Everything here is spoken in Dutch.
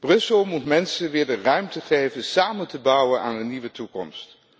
Brussel moet mensen weer de ruimte geven samen te bouwen aan een nieuwe toekomst.